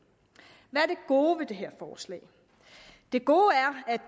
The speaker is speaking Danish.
gode ved det her forslag det gode